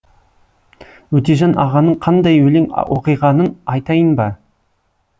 өтежан ағаның қандай өлең оқығанын айтайын ба